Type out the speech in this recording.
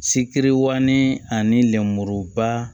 Sikiri wali ani lenburuba